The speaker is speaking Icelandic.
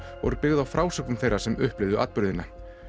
og er byggð á frásögnum þeirra sem upplifðu atburðina